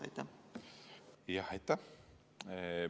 Aitäh!